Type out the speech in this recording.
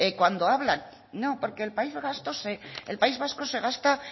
que cuando hablan no porque el país vasco se gasta